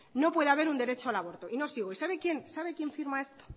no puede haber un derecho al aborto y no sigo y sabe quién firma esto